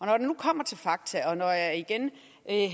når det nu kommer til fakta og når jeg igen